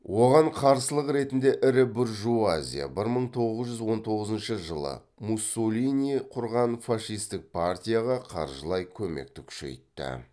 оған қарсылық ретінде ірі буржуазия бір мың тоғыз жүз он тоғызыншы жылы муссолини құрған фашистік партияға қаржылай көмекті күшейтті